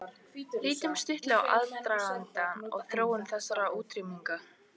Lítum stuttlega á aðdraganda og þróun þessarar útrýmingar.